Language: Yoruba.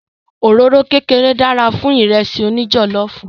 Òróró kékeré dára fún Ìrẹ́sì òní jọ̀lọ́ọ̀fù